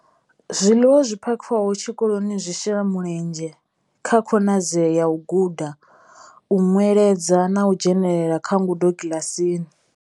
Zwiḽiwa zwi phakhiwaho tshikoloni zwi shela mulenzhe kha khonadzeo ya u guda, u nweledza na u dzhenela kha ngudo kiḽasini.